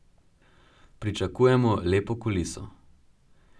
Pričakujemo lepo kuliso.